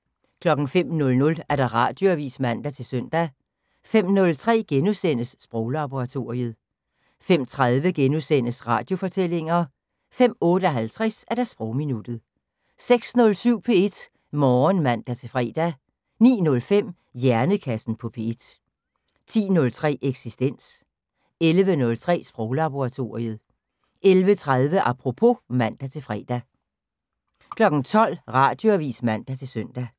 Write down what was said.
05:00: Radioavis (man-søn) 05:03: Sproglaboratoriet * 05:30: Radiofortællinger * 05:58: Sprogminuttet 06:07: P1 Morgen (man-fre) 09:05: Hjernekassen på P1 10:03: Eksistens 11:03: Sproglaboratoriet 11:30: Apropos (man-fre) 12:00: Radioavis (man-søn)